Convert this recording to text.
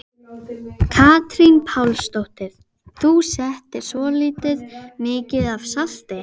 Katrín Pálsdóttir: Þú settir svolítið mikið af salti?